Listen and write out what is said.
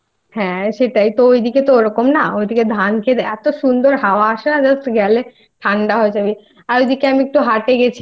হ্যাঁ সেটাই তো ঐ দিকে তো ওরকম না ওইদিকে ধানক্ষেতে